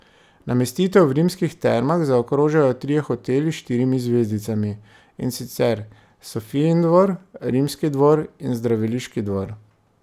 Namestitev v Rimskih termah zaokrožajo trije hoteli s štirimi zvezdicami, in sicer Sofijin dvor, Rimski dvor in Zdraviliški dvor.